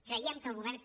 creiem que el govern